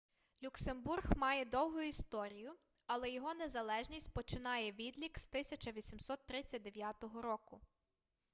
люксембург має довгу історію але його незалежність починає відлік з 1839 року